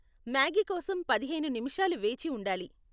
Maggi కోసం పదిహేను నిముషాలు వేచి ఉండాలి.